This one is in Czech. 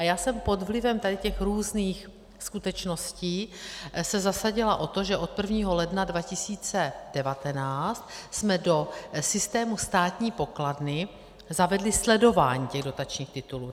A já jsem pod vlivem tady těch různých skutečností se zasadila o to, že od 1. ledna 2019 jsme do systému státní pokladny zavedli sledování těch dotačních titulů.